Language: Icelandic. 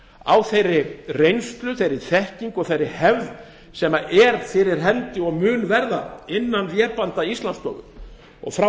á þeirri reynslu þekkingu og hefð sem er fyrir hendi og mun verða innan vébanda íslandsstofu skemmst er frá